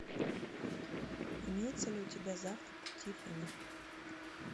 имеется ли у тебя завтрак у тиффани